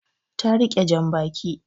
Ta rike jan baki